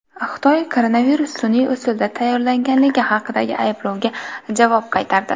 Xitoy koronavirus sun’iy usulda tayyorlanganligi haqidagi ayblovga javob qaytardi.